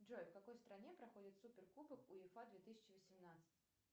джой в какой стране проходит суперкубок уефа две тысячи восемнадцать